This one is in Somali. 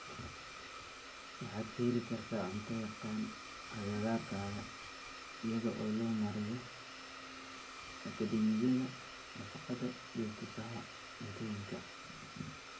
Waxaad ka heli kartaa cunto yaqaan agagaarkaaga iyada oo loo marayo Akadeemiyada Nafaqada iyo Tusaha Cuntooyinka.